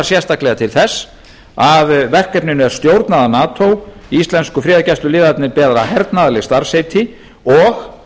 sérstaklega til þess að verkefninu er stjórnað af nato íslensku friðargæsluliðarnir bera þar hernaðarleg starfsheiti og